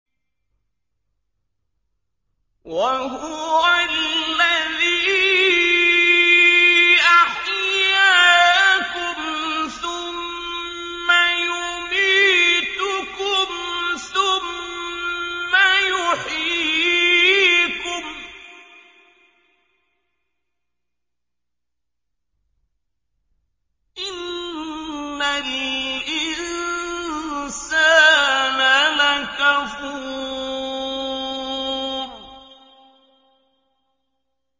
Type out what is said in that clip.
وَهُوَ الَّذِي أَحْيَاكُمْ ثُمَّ يُمِيتُكُمْ ثُمَّ يُحْيِيكُمْ ۗ إِنَّ الْإِنسَانَ لَكَفُورٌ